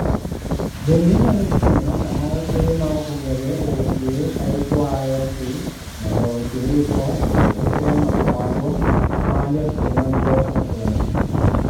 Bende inyalo fwenyo kama ote ma ok ong'ere owuokie ka ikwayo ji mondo ochiw ripot e wi ote ma kamago ma jotim nonro osefwenyo.